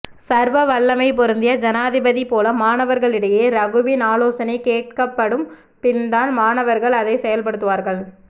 சர்வவல்லமை பொருந்திய ஜனாதிபதி போல மாணவர்களிடையே ரகுவின் ஆலோசனை கேட்கப்படும் பின் தான் மாணவர்கள் அதை செயல் படுத்துவார்கள்